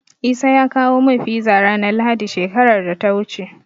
Isa ya kawo min Fiza ranar Lahadi, shekarar da ta wuce.